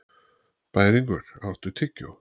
Bæringur, áttu tyggjó?